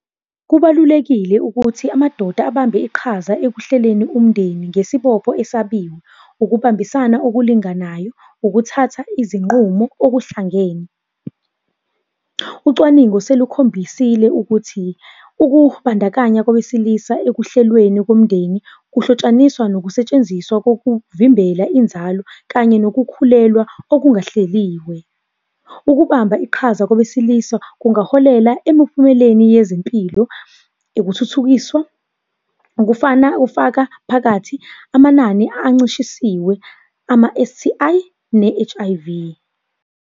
Kubalulekile ukuthi amadoda abambe iqhaza ekuhleleni umndeni ngesibopho esabiwa, ukubambisana okulinganayo, ukuthatha izinqumo okuhlangene. Ucwaningo Selukhombisile ukuthi ukubandakanya kowesilisa ekuhlelweni komndeni, kuhlotshaniswa nokusetshenziswa kokuvimbela inzalo, kanye nokukhulelwa okungahleliwe. Ukubamba iqhaza kowesilisa kungaholela emuphumelweni yezempilo, ukuthuthukiswa, ukufana ufaka phakathi amanani ancishisiwe, ama-S_T_I, ne-H_I_V.